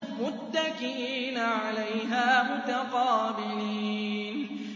مُّتَّكِئِينَ عَلَيْهَا مُتَقَابِلِينَ